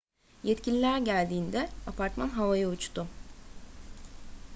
yetkililer geldiğinde apartman havaya uçtu